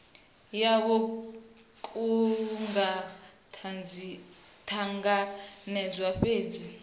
yavho ku nga ṱanganedzwa fhedzi